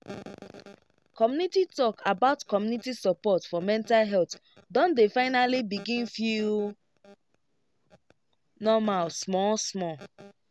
community talk about community support for mental health don dey finally begin feel normal small small